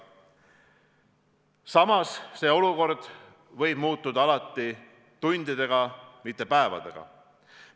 Samas, olukord võib muutuda tundidega, mitte päevadega.